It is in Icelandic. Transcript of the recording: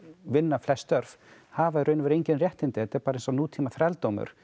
vinnur flest störf hafa í raun og veru engin réttindi þetta er bara eins og nútíma þrældómur